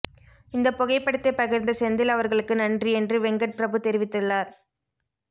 இந்த புகைப்படத்தை பகிர்ந்த செந்தில் அவர்களுக்கு நன்றி என்று வெங்கட் பிரபு தெரிவித்துள்ளார்